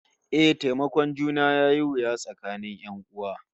Eh, taimakon juna yayi wuya tsakanin 'yan'uwa